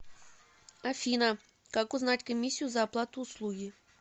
афина как узнать комиссию за оплату услуги